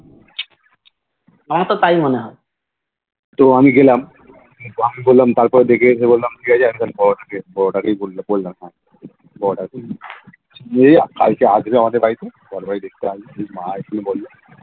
আমার তো তাই মনে হয়